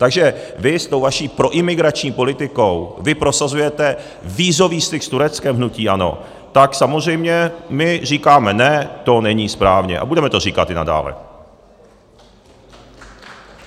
Takže vy s tou vaší proimigrační politikou, vy prosazujete vízový styk s Tureckem, hnutí ANO, tak samozřejmě my říkáme ne, to není správně, a budeme to říkat i nadále.